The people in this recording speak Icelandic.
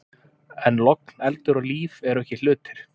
En logn, eldur og líf eru ekki hlutir.